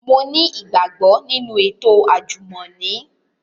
Mo ni igbagbo ninu eto ajumọni